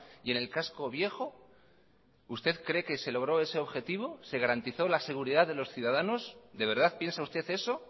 y en el casco viejo usted cree que se logró ese objetivo se garantizó la seguridad de los ciudadanos de verdad piensa usted eso